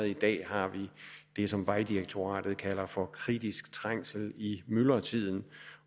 i dag har vi det som vejdirektoratet kalder for kritisk trængsel i myldretiden